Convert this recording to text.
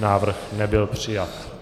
Návrh nebyl přijat.